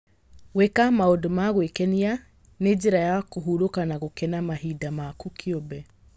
Gwĩka maũndũ ma gwĩkenia nĩ njĩra ya kũhurũka na gũkena mahinda maku kĩumbe.